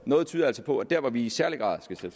noget altså på at der hvor vi i særlig grad skal